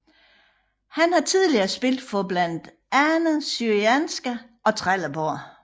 Han har tidligere spillet for blandt andet Syrianska og Trelleborg